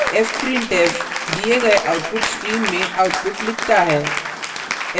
fprintf दिए गए output stream में output लिखता है